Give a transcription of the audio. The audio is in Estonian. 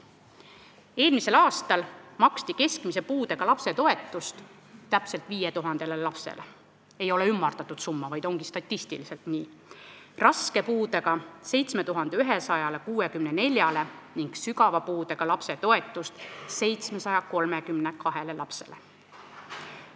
Eelmisel aastal maksti keskmise puudega lapse toetust täpselt 5000 lapsele , raske puudega lapse toetust 7164-le ning sügava puudega lapse toetust 732 lapsele.